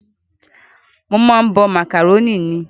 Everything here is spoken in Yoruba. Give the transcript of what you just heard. Mo máa ń bọ màkàrónì ni